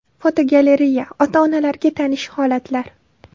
Fotogalereya: Ota-onalarga tanish holatlar.